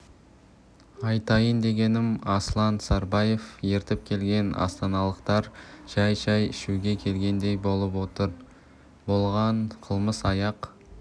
айтайын дегенім аслан сарбаев ертіп келген астаналықтар жай шай ішуге келгендей болып отыр болған қылмыс аяқ